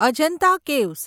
Ajanta caves